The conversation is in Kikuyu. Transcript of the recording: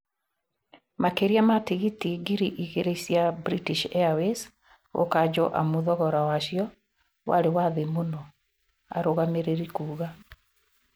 Makĩria ma tigiti ngiri igĩrĩ cia British Airways gũkanjwo amu thogora wacio warĩ wa thĩ mũno," arũgamĩrĩri kuga